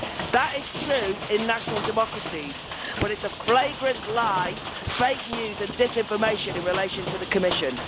That is true in national democracies but it is a flagrant lie, fake news and disinformation in relation to the Commission.